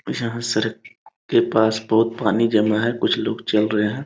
यहाँ सड़क के पास बहुत पानी जमा है कुछ लोग चल रहे है।